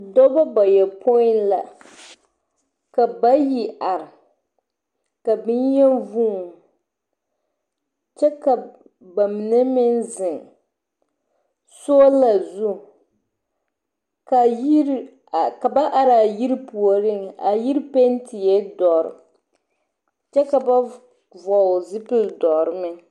Dɔbɔ bayɔpoi la, ka bayi are, ka boŋyeni vuun. Kyɛ ka ba mine meŋ zeŋ soola zuŋ. Ka ba araa yiri puoriŋ, a yiri pentie dɔre, kyɛ ka ba vɔɔl zupil dɔre meŋ.